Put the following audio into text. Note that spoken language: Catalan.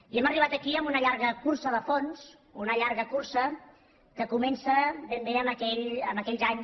i hem arribat aquí amb una llarga cursa de fons una llarga cursa que comença ben bé en aquells anys